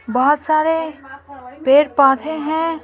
बहोत सारे पेड़-पौधे हैं।